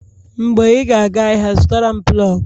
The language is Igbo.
Mgbe ị ga-aga ahịa, zụtara m plọg